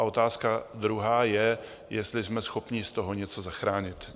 A otázka druhá je, jestli jsme schopni z toho něco zachránit.